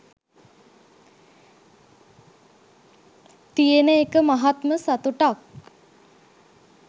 තියෙන එක මහත්ම සතුටක්